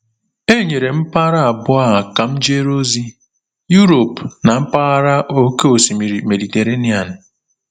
E nyere m mpaghara abụọ a ka m jere ozi: Europe na mpaghara Oké Osimiri Mediterenian.